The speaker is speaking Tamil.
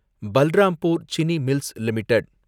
Balrampur Chini mills limited